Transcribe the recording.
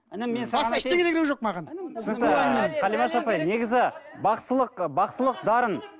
інім мен саған басқа ештеңе керек жоқ маған түсінікті ііі қалимаш апай негізі бақсылық бақсылық дарын